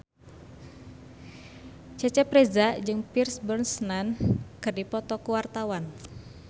Cecep Reza jeung Pierce Brosnan keur dipoto ku wartawan